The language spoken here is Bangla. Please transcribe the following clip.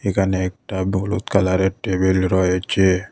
এখানে একটা হলুদ কালারের টেবিল রয়েছে।